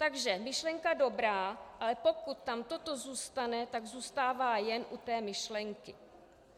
Takže myšlenka dobrá, ale pokud tam toto zůstane, tak zůstává jen u té myšlenky.